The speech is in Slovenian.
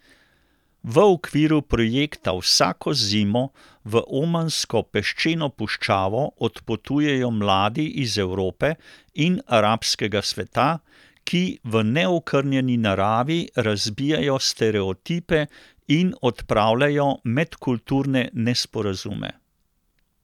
V okviru projekta vsako zimo v omansko peščeno puščavo odpotujejo mladi iz Evrope in arabskega sveta, ki v neokrnjeni naravi razbijajo stereotipe in odpravljajo medkulturne nesporazume.